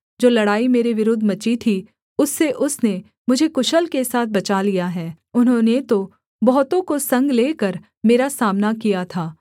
जो लड़ाई मेरे विरुद्ध मची थी उससे उसने मुझे कुशल के साथ बचा लिया है उन्होंने तो बहुतों को संग लेकर मेरा सामना किया था